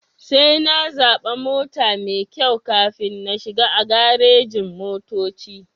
Sai na zaɓa mota maikyau kafin na shiga a garejin-motoci.